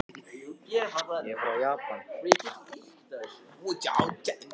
Hvergi var ljós í glugga og dimmt allt umhverfis.